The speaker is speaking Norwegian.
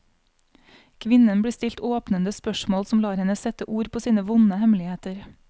Kvinnen blir stilt åpnende spørsmål som lar henne sette ord på sine vonde hemmeligheter.